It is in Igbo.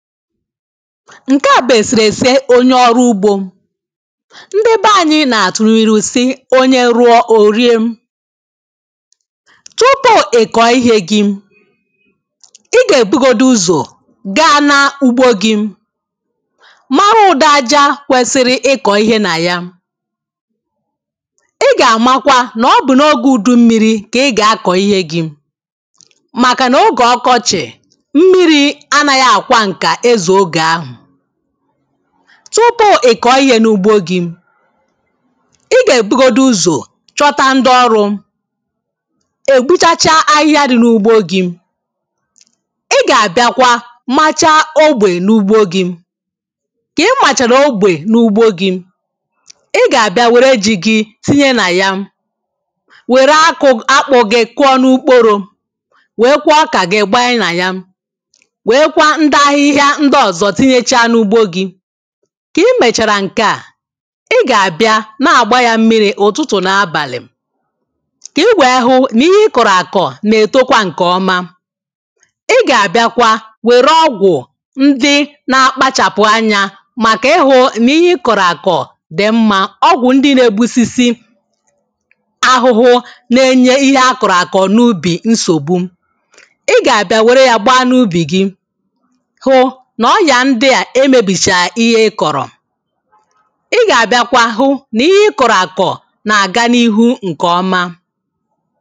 nke a bụ eserese onye ọrụ ugbo ndị be anyị na-atụ n’iru sị onye rụọ o rie tupu ị kọọ ihe gị ị ga-ebugodu ụzọ gaa na ugbo gị mara ụdị aja kwesiri ịkọ ihe na ya ị ga-amakwa na ọbụna ogė udu mmiri ka ị ga-akọ ihe gị maka na oge ọkọchị tupu ị kọọ ihe n’ugbo gị ị ga-ebugodu ụzọ chọta ndị ọrụ egbucha chaa ahịhịa dị n’ugbo gị ị ga-abịakwa machaa ogbe n’ugbo gị ka ị màchàrà ogbe n’ugbo gị ị ga-abịa were ji gị tinye nà ya were akụ akpụ gị kụọ n’ukporo wee kwuo oka gị gbaa i na ya ndị ọzọ tinyechaa n’ugbo gị ka i mechara nke a ị ga-abịa na-agba ya mmiri ụtụtụ na abalị ka i wee hụ na ihe ị kọrọ akọ na-etokwa nke ọma ị ga-abịakwa were ọgwụ ndị na-akpachapụ anya maka ịhụ na ihe ị kọrọ akọ dị mma ọgwụ ndị na-egbusisi ahụhụ na-enye ihe akọrọ akọ n’ubi nsogbu ị ga-abịa were ya gbaa n’ubi gị e mebichaa ihe ị kọrọ ị ga-abịakwa ahụ na ihe ị kọrọ akọ na-aga n’ihu nke ọma